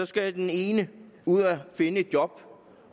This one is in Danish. skal den ene ud at finde et job